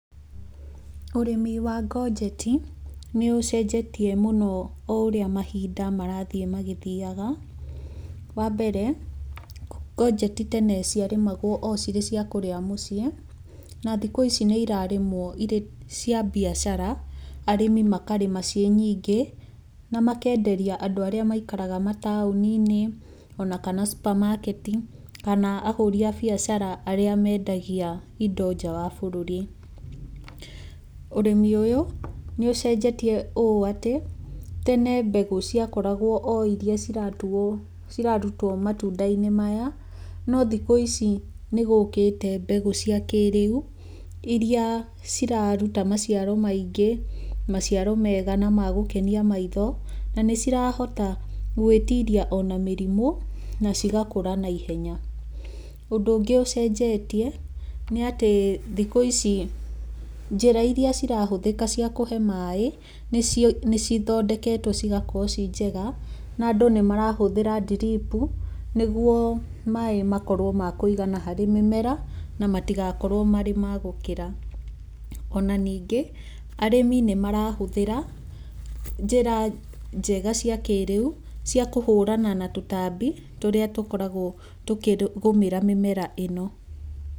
Ũrĩmi wa ngonjeti nĩ ũcenjetie mũno o ũrĩa mahinda marathiĩ magĩthiaga. Wambere, ngonjeti tene ciarĩmagwo ocirĩ ciakũrĩa mũciĩ na thikũ ici nĩ irarĩmwo cirĩ cia biacara, arĩmi makarĩma ciĩnyingĩ na makenderia andũ arĩa maikaraga mataũni-nĩ ona kana ma super markets kana ahũri a biacara arĩa mendagia indo nja wa bũrũri. ũrĩmi ũyũ nĩ ũcenjetie ũ atĩ, tene mbegũ ciakoragwo oiria cirarutwo matunda-inĩ maya no thikũ ici nĩgũkĩte mbegũ cia kĩrĩu iria ciraruta maciaro maingĩ maciaro mega na magũkenia maitho na nĩcirahota gwĩtiria ona mĩrimũ na cigakũra na ihenya. Ũndũ ũngĩ ũcenjetie, nĩ atĩ thikũ ici njĩra iria cirahũthĩka cia kũhe maĩ nĩcithondeketwo cigakorwo ciĩnjega na andũ nĩ marahũthĩra drip nĩguo maĩ makorwo makũigana harĩ mĩmera na matigakorwo marĩ ma gũkĩra. Ona ningĩ, arĩmi nĩ marahũthĩra njĩra njega cia kĩrĩu cia kũhũrana na tũtambi tũrĩa tũkoragwo tũkĩgũmĩra mĩmera ĩno.